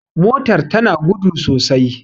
motar tana gudu sosai